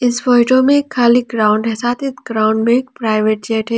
इस फोटो में खाली ग्राउंड है साथ ही ग्राउंड में एक प्राइवेट जेट है।